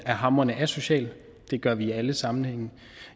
er hamrende asocial det gør vi i alle sammenhænge